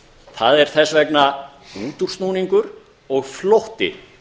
það er þess vegna útúrsnúningur og flótti